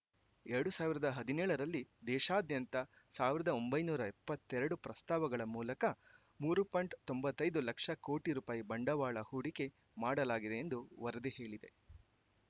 ಎರಡು ಸಾವಿರದ ಹದಿನೇಳರಲ್ಲಿ ದೇಶಾದ್ಯಂತ ಸಾವಿರದ ಒಂಬೈನೂರ ಎಪ್ಪತ್ತೆರಡು ಪ್ರಸ್ತಾವಗಳ ಮೂಲಕ ಮೂರು ಪಾಯಿಂಟ್ ತೊಂಬತೈದು ಲಕ್ಷ ಕೋಟಿ ರೂಪಾಯಿ ಬಂಡವಾಳ ಹೂಡಿಕೆ ಮಾಡಲಾಗಿದೆ ಎಂದು ವರದಿ ಹೇಳಿದೆ